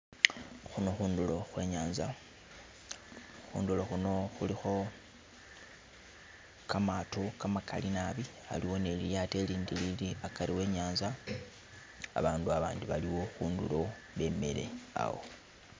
Khuno khundulo khwenyaza khundulo khuno khulikho kamaato kamagali naabi haliwo ni lilyaato ilindi lili hagati wenyanza abandu abandi baliwo khundulo bemele awo.